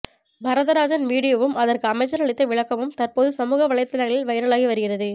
வரதராஜன் வீடியோவும் அதற்கு அமைச்சர் அளித்த விளக்கமும் தற்போது சமூக வலைதளங்களில் வைரலாகி வருகிறது